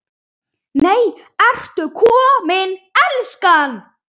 NEI, ERTU KOMIN, ELSKAN!